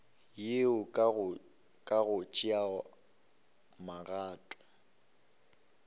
yeo ka go tšea magato